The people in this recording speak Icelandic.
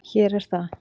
Hér er það.